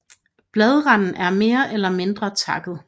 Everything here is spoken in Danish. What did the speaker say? Bladranden er mere eller mindre takket